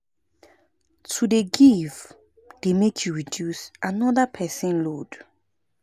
To dey give dey make you reduce anoda pesin load.